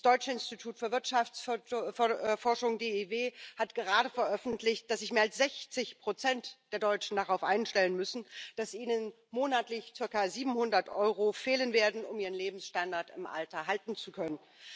Das Deutsche Institut für Wirtschaftsforschung hat gerade veröffentlicht, dass sich mehr als sechzig Prozent der Deutschen darauf einstellen müssen, dass ihnen monatlich zirka siebenhundert Euro fehlen werden, um ihren Lebensstandard im Alter halten zu können.